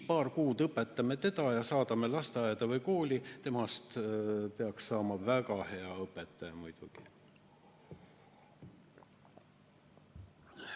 Paar kuud õpetame teda ja saadame lasteaeda või kooli, temast peaks saama väga hea õpetaja muidugi.